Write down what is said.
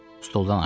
Stoldan aşdı.